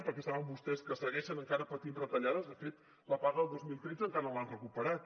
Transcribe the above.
perquè saben vostès que segueixen encara patint retallades de fet la paga del dos mil tretze encara no l’han recuperat